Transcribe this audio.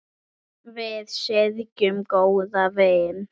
Við syrgjum góðan vin.